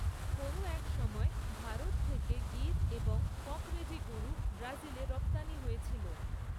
কোনও এক সময়ে ভারত থেকে গির এবং কঁকরেজি গরু ব্রাজিলে রপ্তানি হয়েছিল।